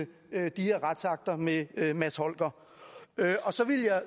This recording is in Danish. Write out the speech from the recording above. her retsakter med mads holger